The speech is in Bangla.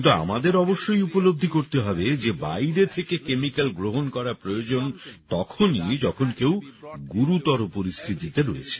কিন্তু আমাদের অবশ্যই উপলব্ধি করতে হবে যে বাইরে থেকে ক্যামিক্যাল গ্রহণ করা প্রয়োজন তখনই যখন কেউ গুরুতর পরিস্থিতিতে রয়েছে